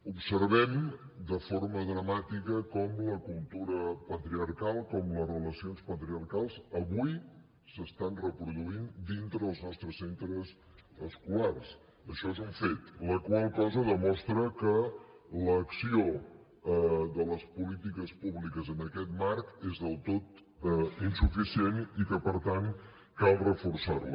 observem de forma dramàtica com la cultura patriarcal com les relacions patriarcals avui es reprodueixen dintre dels nostres centres escolars això és un fet la qual cosa demostra que l’acció de les polítiques públiques en aquest marc és del tot insuficient i que per tant cal reforçar la